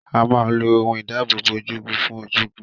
A máa ń lo ohun ìdáábòbò ojúgun fún ojúgun.